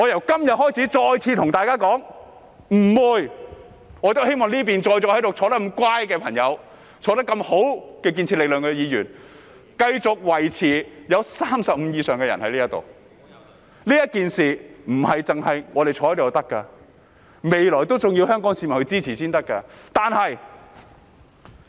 今天，我再次對大家說，我希望這邊端正地坐着的建設力量的議員可以繼續維持在35位以上，這事並非我們坐在這裏便足夠，未來還要香港市民支持才可以。